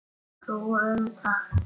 Þú um það.